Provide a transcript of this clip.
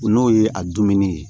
N'o ye a dumuni ye